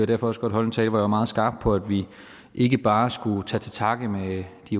derfor også godt holde en tale hvor jeg var meget skarp på at vi ikke bare skulle tage til takke med de